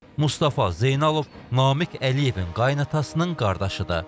Mustafa Zeynalov Namiq Əliyevin qaynanasının qardaşıdır.